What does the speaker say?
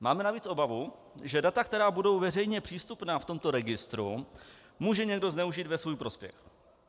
Máme navíc obavu, že data, která budou veřejně přístupná v tomto registru, může někdo zneužít ve svůj prospěch.